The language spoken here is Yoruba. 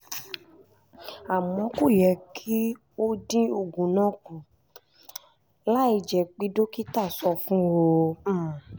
àmọ́ kò yẹ kí o dín oògùn náà kù láìjẹ́ pé dókítà sọ fún ọ